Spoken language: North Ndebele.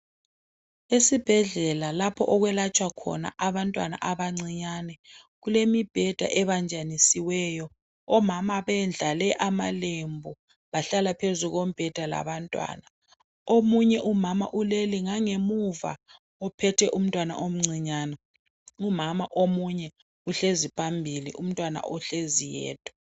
Esibhedlela lapho okwelatshwa khona abantwana abancinyane. Kulemibheda ebanjanisiweyo ,omama bendlale amalembu .Bahlala phezu kombheda labantwana. Omunye umama ulele ngangemuva ,ophethe umntwana omncinyane. Umama omunye uhlezi phambili umntwana uhlezi yedwa.